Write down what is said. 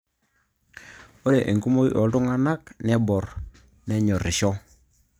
Ore enkumoi oltung'anak neborr nenyorrisho